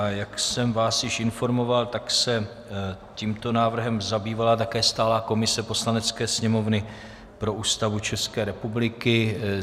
A jak jsem vás již informoval, tak se tímto návrhem zabývala také stálá komise Poslanecké sněmovny pro Ústavu České republiky.